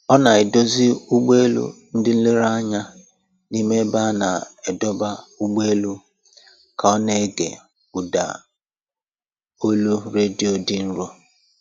Ọ na-edozi ụgbọ elu ndị nlereanya n'ime ebe a na-adọba ụgbọ elu ka ọ na-ege ụda olu redio dị nro